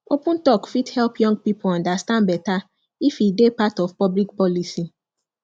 open talk fit help young people understand better if e dey part of public policy